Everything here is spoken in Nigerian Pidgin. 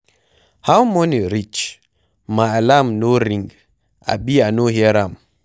How morning reach? My alarm no ring abi I no hear am?